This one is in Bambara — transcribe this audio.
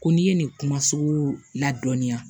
Ko n'i ye nin kuma sugu la dɔɔnin yan